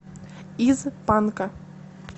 из панка